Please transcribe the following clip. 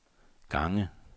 gange